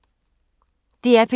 DR P2